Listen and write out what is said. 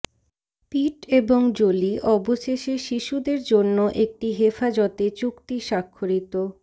পিট এবং জোলি অবশেষে শিশুদের জন্য একটি হেফাজতে চুক্তি স্বাক্ষরিত